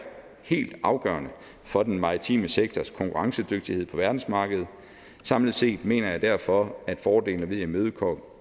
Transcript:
helt afgørende for den maritime sektors konkurrencedygtighed på verdensmarkedet samlet set mener jeg derfor at fordelene ved at imødekomme